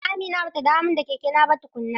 A'a Amina bata dawo min da kekena ba tukuna.